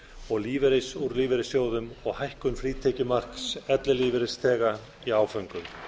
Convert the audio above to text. og lífeyris úr lífeyrissjóðum og hækkun frítekjumarks ellilífeyrisþega í áföngum